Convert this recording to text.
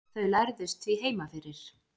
þau lærðust því heima fyrir